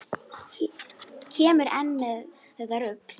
Kemurðu enn með þetta rugl!